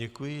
Děkuji.